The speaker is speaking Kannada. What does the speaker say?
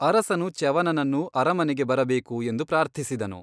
ಅರಸನು ಚ್ಯವನನನ್ನು ಅರಮನೆಗೆ ಬರಬೇಕು ಎಂದು ಪ್ರಾರ್ಥಿಸಿದನು.